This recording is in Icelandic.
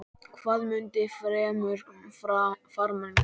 Hvað mundi fremur farmann gleðja?